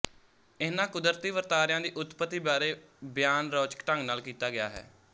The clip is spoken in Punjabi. ਇਹਨਾਂ ਕੁਦਰਤੀ ਵਰਤਾਰਿਆਂ ਦੀ ਉਤਪਤੀ ਬਾਰੇ ਬਿਆਨ ਰੌਚਕ ਢੰਗ ਨਾਲ ਕੀਤਾ ਗਿਆ ਹੈ